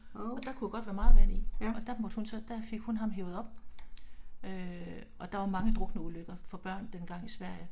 Og der kunne jo godt være meget vand i og der måtte hun så der fik hun ham hevet op. Øh og der var mange drukneulykker for børn dengang i Sverige